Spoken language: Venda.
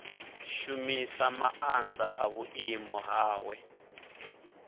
shumisa maanḓa a vhuimo hawe